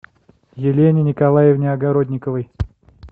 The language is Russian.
елене николаевне огородниковой